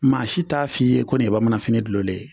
Maa si t'a f'i ye ko nin ye bamananfini dulolen ye